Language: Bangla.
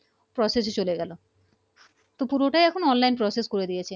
Process এ চলে গেলো তো পুরোটাই এখন Online Process করে দিয়েছে